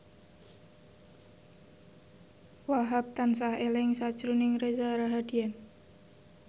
Wahhab tansah eling sakjroning Reza Rahardian